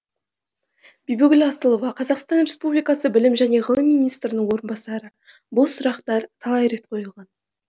бибігүл асылова қр білім және ғылым министрінің орынбасары бұл сұрақтар талай рет қойылған